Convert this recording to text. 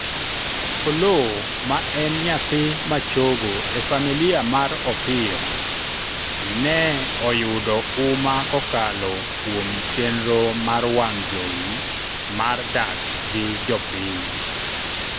Oloo ma en nyathi ma chogo e familia mar Opiyo ne oyudo uma kokalo kuom chanero mar wang' jowi mar dak gi jopiny